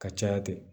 Ka caya ten